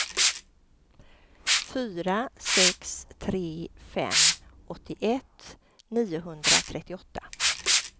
fyra sex tre fem åttioett niohundratrettioåtta